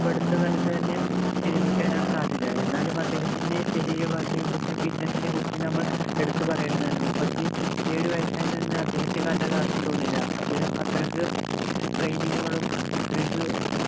ഇപ്പോ അടുത്ത കാലത്ത് തന്നെ വിരമിക്കാനാണ് സാധ്യത എന്നാലും അദ്ദേഹത്തിൻ്റെ ശരീരഭാഷയെ കുറിച്ചും fitness നെ കുറിച്ചും നമ്മൾ എടുത്തു പറയേണ്ടതാണ് മുപ്പത്തിയേഴു വയസ്സുണ്ട് എന്ന് അദ്ദേഹത്തെ കണ്ടാൽ ആർക്കും തോന്നില്ല അദ്ദേഹം അത്രക്ക് training കളും അത്രക്ക്